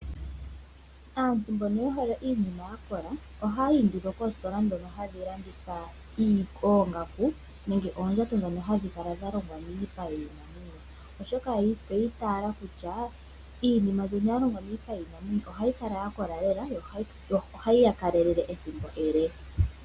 Aantu mboka ye hole iinima ya kola oha yayi nduno koositola dhono hadhi landitha oongaku nenge oondjato dhoka hadhi kala dha longwa miipa yiinamwenyo, oshoka oyi itayela kutya iinima mbika ya longwa miipa yiinamwenyo ohayi kala ya kola lela nohayi ya kalelele ethimbo ele.